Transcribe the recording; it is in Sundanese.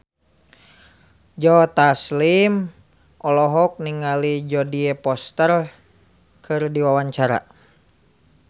Joe Taslim olohok ningali Jodie Foster keur diwawancara